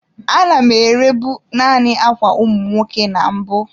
A na m ere bụ naanị ákwà ụmụ nwoke na mbụ.